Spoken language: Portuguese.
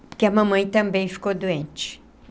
Porque a mamãe também ficou doente.